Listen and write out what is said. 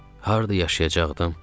Harda yaşayacaqdıq?